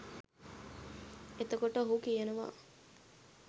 එතකොට ඔහු කියනවා